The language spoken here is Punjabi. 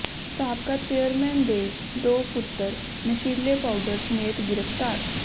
ਸਾਬਕਾ ਚੇਅਰਮੈਨ ਦੇ ਦੋ ਪੁੱਤਰ ਨਸ਼ੀਲੇ ਪਾਊਡਰ ਸਮੇਤ ਗਿ੍ਫ਼ਤਾਰ